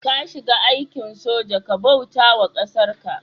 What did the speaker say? ka shiga aikin sojoji Kai bautawa kasarka